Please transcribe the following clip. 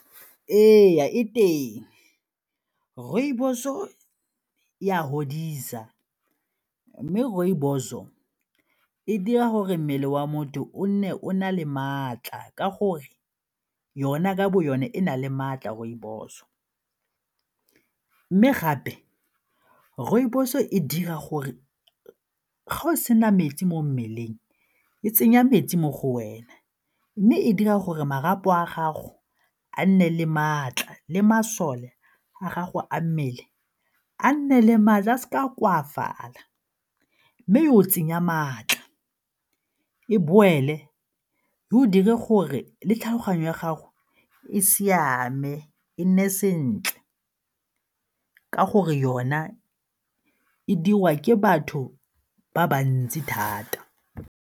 Ee, e teng rooibos-o e a godisa mme rooibos-o e dira gore mmele wa motho o nne o na le maatla ka gore yona ka bo yone e na le maatla rooibos. Mme gape rooibos e dira gore ga o sena metsi mo mmeleng e tsenya metsi mo go wena mme e dira gore marapo a gago a nne le maatla le masole a gago a mmele a nne le maatla a seka a koafala mme e go tsenya maatla, e boele w go dire gore le tlhaloganyo ya gago e siame e nne sentle ka gore yona e diriwa ke batho ba bantsi thata.